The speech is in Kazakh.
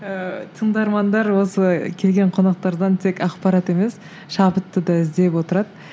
ыыы тыңдармандар осы келген қонақтардан тек ақпарат емес шабытты да іздеп отырады